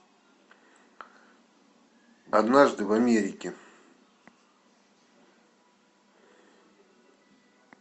однажды в америке